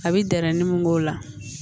A bɛ dɛrɛnin mun k'o la